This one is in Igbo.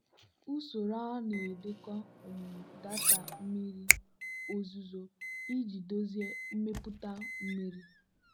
usoro a na-edekọ um data mmiri ozuzo iji dozie mmepụta mmiri.